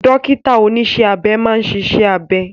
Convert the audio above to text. Dókítà oníṣẹ́ abẹ máa ń ṣiṣẹ́ abẹ